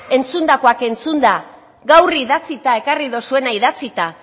entzundakoak entzunda gaur idatzita ekarri duzuena idatzita